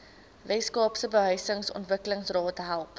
weskaapse behuisingsontwikkelingsraad help